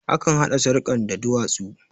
Akan haɗa sarkan da duwatsu